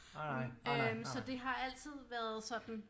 Øh så det har altid været sådan